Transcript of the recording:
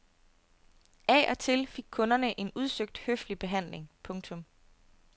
Af og til fik kunderne en udsøgt høflig behandling. punktum